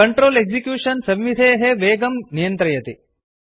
control execution संविधेः programme वेगं नियन्त्रयति